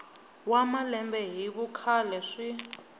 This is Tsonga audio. wa malembe hi vukhale swi